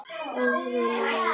Öðru nær!